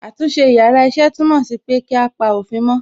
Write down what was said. Àtúnṣe yàrá iṣẹ́ túmọ̀ sí pé kí á pa òfin mó.